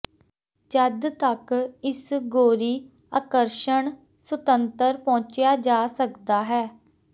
ਜਦ ਤੱਕ ਇਸ ਗੋਰੀ ਆਕਰਸ਼ਣ ਸੁਤੰਤਰ ਪਹੁੰਚਿਆ ਜਾ ਸਕਦਾ ਹੈ